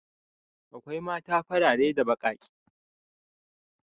Akwai mata farare da baƙaƙe.